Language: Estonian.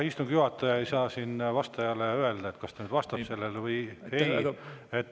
Istungi juhataja ei saa siin vastajale öelda, kas ta nüüd vastab sellele või ei.